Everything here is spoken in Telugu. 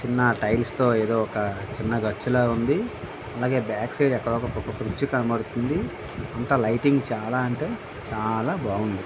ఒక చిన్న టైల్స్ తో ఏదో ఒక చిన్న గచ్చులాగా ఉన్నది. అలాగే బ్యాక్ సైడ్ అక్కడో ఒక క్రుచ్చి కనపడుతుంది. అంతా లైటింగ్ చాలా అంటే చాలా బాగుంది.